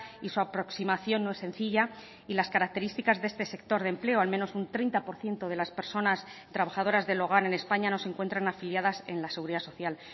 y su aproximación no es sencilla y las características de este sector de empleo al menos un treinta por ciento de las personas de trabajadoras del hogar en españa no se encuentran afiliadas en la seguridad social